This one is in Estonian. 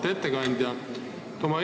Auväärt ettekandja!